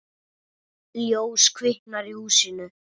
Ljós kviknar í húsinu.